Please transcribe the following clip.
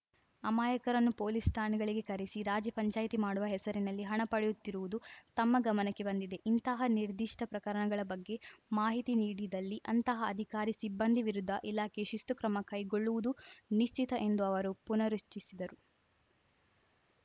ಅಮಾಯಕರನ್ನು police ಠಾಣೆಗಳಿಗೆ ಕರೆಸಿ ರಾಜಿ ಪಂಚಾಯಿತಿ ಮಾಡುವ ಹೆಸರಿನಲ್ಲಿ ಹಣ ಪಡೆಯುತ್ತಿರುವುದು ತಮ್ಮ ಗಮನಕ್ಕೆ ಬಂದಿದೆ ಇಂತಹ ನಿರ್ಧಿಷ್ಟಪ್ರಕರಣಗಳ ಬಗ್ಗೆ ಮಾಹಿತಿ ನೀಡಿದಲ್ಲಿ ಅಂತಹ ಅಧಿಕಾರಿ ಸಿಬ್ಬಂದಿ ವಿರುದ್ಧ ಇಲಾಖೆ ಶಿಸ್ತು ಕ್ರಮ ಕೈಗೊಳ್ಳುವುದು ನಿಶ್ಚಿತ ಎಂದು ಅವರು ಪುನರುಚ್ಛಸಿದರು